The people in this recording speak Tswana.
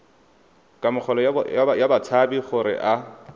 kamogelo ya batshabi gore a